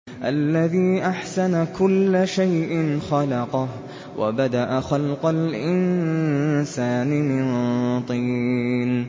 الَّذِي أَحْسَنَ كُلَّ شَيْءٍ خَلَقَهُ ۖ وَبَدَأَ خَلْقَ الْإِنسَانِ مِن طِينٍ